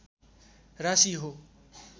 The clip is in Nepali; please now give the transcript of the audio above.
राशि हो